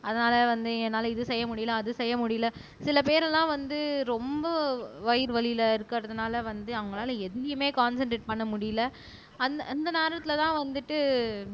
அதனால வந்து என்னால இது செய்ய முடியலை அது செய்ய முடியலை சில பேரெல்லாம் வந்து ரொம்ப வயிறு வலியில இருக்கறதுனால வந்து அவங்களால எதுலயுமே கான்சன்ட்ரேட் பண்ண முடியலை அந்த அந்த நேரத்துலதான் வந்துட்டு